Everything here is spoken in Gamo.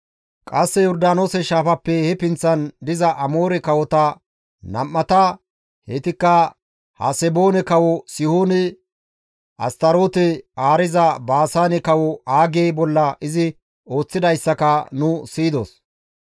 Qasse Yordaanoose shaafappe he pinththan diza Amoore kawota nam7ata, heytikka Haseboone kawo Sihoone, Astaroote haariza Baasaane kawo Aage bolla izi ooththidayssaka nu siyidos.